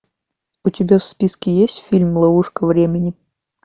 у тебя в списке есть фильм ловушка времени